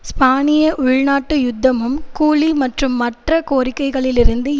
ஸ்பானிய உள்நாட்டு யுத்தமும் கூலி மற்றும் மற்ற கோரிக்கைகளிலிருந்து